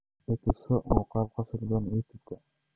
I tuso muuqaal qosol badan youtube-ka